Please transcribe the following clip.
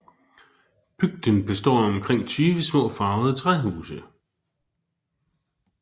Bygden består af omkring 20 små farvede træhuse